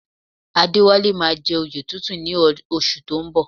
Adéwálé máa jẹ oyè tuntun ní oṣù tó ń bọ̀